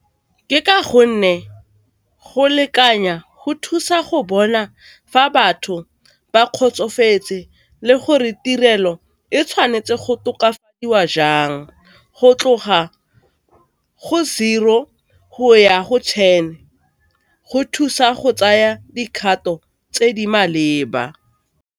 Ke ka go nne go lekanya go thusa go bona fa batho ba kgotsofetse le gore tirelo e tshwanetse go tokafadiwa jang go tloga go zero go ya go ten, go thusa go tsaya dikgato tse di maleba.